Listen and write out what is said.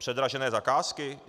Předražené zakázky?